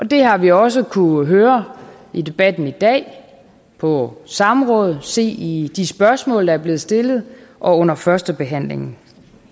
det har vi også kunnet høre i debatten i dag på samrådet se i de spørgsmål der blevet stillet og under første behandling